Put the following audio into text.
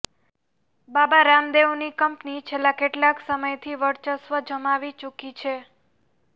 બાબા રામદેવની કંપની છેલ્લા કેટલાક સમયથી વર્ચસ્વ જમાવી ચુકી છે